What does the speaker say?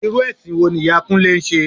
Irú ẹ̀sìn wo ni ìyá Kúnlẹ́ ń ṣe?